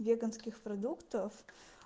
веганских продуктов